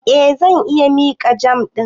Eh, zan iya miƙa jam ɗin.